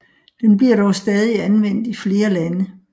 Den bliver dog stadig anvendt i flere lande